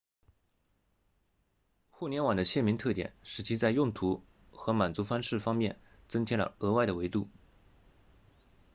互联网的鲜明特点使其在用途和满足方式方面增添了额外的维度